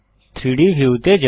3ডি ভিউ তে যান